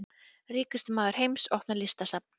Ríkasti maður heims opnar listasafn